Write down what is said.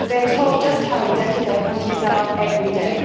They are told just how indebted their countries are every day.